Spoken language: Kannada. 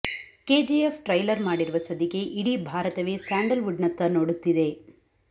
ಕೆಜಿಎಫ್ ಟ್ರೈಲರ್ ಮಾಡಿರುವ ಸದ್ದಿಗೆ ಇಡೀ ಭಾರತವೇ ಸ್ಯಾಂಡಲ್ ವುಡ್ ನತ್ತ ನೋಡುತ್ತಿದೆ